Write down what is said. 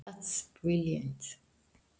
Það er ljómandi gott!